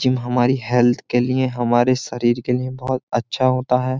Gym हमारी health के लिए हमारे शरीर के लिए बहुत अच्छा होता है।